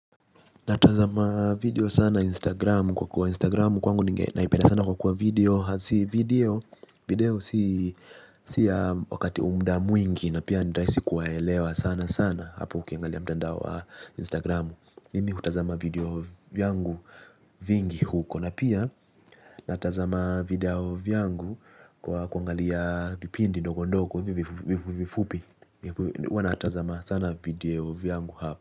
Natazama video sana Instagramu, kwa kuwa Instagramu kwangu nge naipenda sana kwa kuwa video video si ya wakati au mda mwingi na pia nitaisi kuwaelewa sana sana hapo ukiangalia mtandao wa Instagramu. Mimi hutazama video vyangu vingi huko. Na pia. Natazama video vyangu, kwa kuangalia vipindi ndogo ndogo hivi vifupi uanatazama sana video vyangu hap.